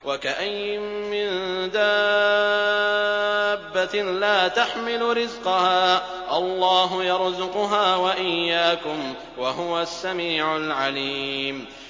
وَكَأَيِّن مِّن دَابَّةٍ لَّا تَحْمِلُ رِزْقَهَا اللَّهُ يَرْزُقُهَا وَإِيَّاكُمْ ۚ وَهُوَ السَّمِيعُ الْعَلِيمُ